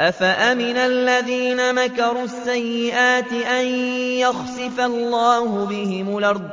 أَفَأَمِنَ الَّذِينَ مَكَرُوا السَّيِّئَاتِ أَن يَخْسِفَ اللَّهُ بِهِمُ الْأَرْضَ